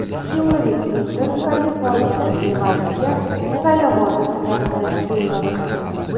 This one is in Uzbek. Hillari Klinton Kaliforniya va Nevadaga saylovoldi safarini bekor qildi.